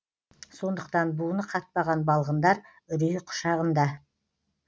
сондықтан буыны қатпаған балғындар үрей құшағында